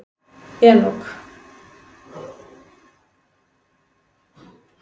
Enok